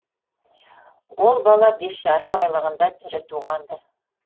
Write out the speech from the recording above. ол бала бес жарым айлығында тірі туған ды